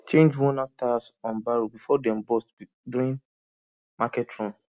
change wornout tyres on barrow before dem burst during market run